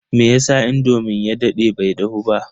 meyasa indomin ya dade bai dahu ba?